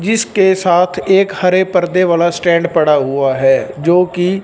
जिसके साथ एक हरे पर्दे वाला स्टैंड पड़ा हुआ है जोकि--